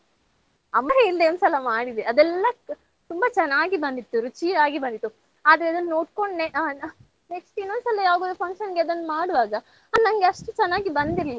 ಅಮ್ಮ ಇಲ್ದೆ ಒಂದ್ಸಲ ಮಾಡಿದೆ ಅದೆಲ್ಲಾ ತುಂಬಾ ಚನ್ನಾಗಿ ಬಂದಿತ್ತು ರುಚಿಯಾಗಿ ಬಂತು ಆದ್ರೆ ಅದನ್ನ್ ನೋಡ್ಕೊಂಡ್ ಆಹ್ next ಇನ್ನೊಂದ್ಸಲಿ ಯಾವ್ದೋ function ಗೆ ಅದನ್ನ್ ಮಾಡೋವಾಗ ಆ ನಂಗೆ ಅಷ್ಟ್ ಚನ್ನಾಗಿ ಬಂದಿರ್ಲಿಲ್ಲ.